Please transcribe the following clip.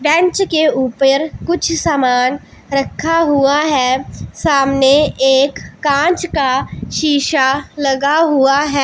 Bench के ऊपर कुछ समान रखा हुआ हैं सामने एक कांच का शीशा लगा हुआ हैं।